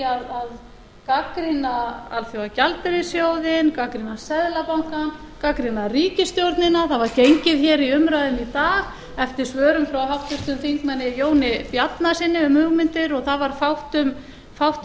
að gagnrýna alþjóðagjaldeyrissjóðinn gagnrýna seðlabankann gagnrýna ríkisstjórnina það var gengið hér í umræðunni í dag eftir svörum frá háttvirtum þingmanni jóni bjarnasyni um hugmyndir og það var fátt um